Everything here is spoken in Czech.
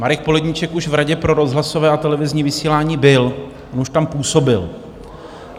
Marek Poledníček už v Radě pro rozhlasové a televizní vysílání byl, on už tam působil.